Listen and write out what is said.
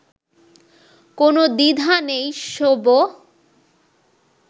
কোনও দ্বিধা নেই, শোবো